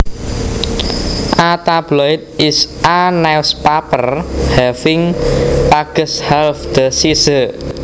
A tabloid is a newspaper having pages half the size